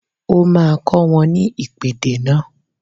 O máa kọ́ wọn ní ìpèdè náà